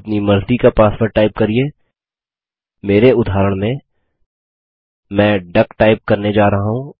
अपनी मर्ज़ी का पासवर्ड टाइप करिये मेरे उदाहरण में मैं डक टाइप करने जा रहा हूँ